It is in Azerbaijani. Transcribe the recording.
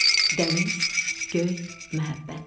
Dəniz, göy, məhəbbət.